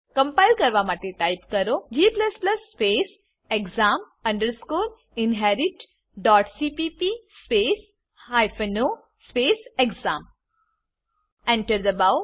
compile કરવા માટે type કરો g exam inheritcpp o exam Enter દબાવો